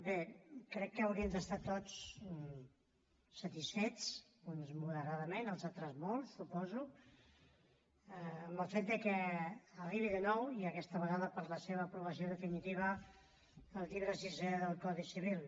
bé crec que haurien d’estar tots satisfets uns moderadament els altres molt suposo amb el fet de que arribi de nou i aquesta vegada per la seva aprovació definitiva el llibre sisè del codi civil